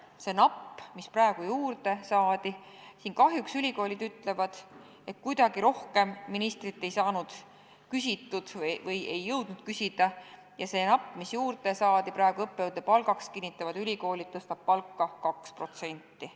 See napp summa, mis praegu juurde saadi – kahjuks ülikoolid ütlevad, et kuidagi rohkem ministrilt ei saanud või ei jõudnud küsida ja see napp lisa, mis juurde saadi õppejõudude palgaks, tõstab ülikoolide kinnitusel palka 2%.